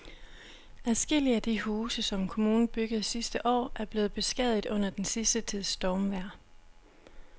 Adskillige af de huse, som kommunen byggede sidste år, er blevet beskadiget under den sidste tids stormvejr.